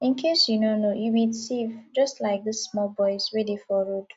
in case you no know you be thief just like dis small boys wey dey for road